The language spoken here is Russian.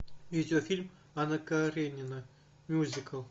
видеофильм анна каренина мюзикл